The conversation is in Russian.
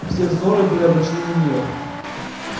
все взоры были обращены на неё